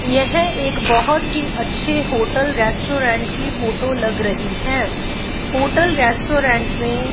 यह एक बहोत ही अच्छे होटल रेस्टोरेंट की फोटो लग रही है होटल रेस्टोरेंट में --